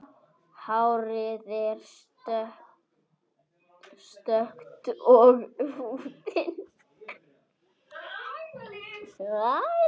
Hárið er stökkt og húðin.